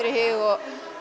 í hug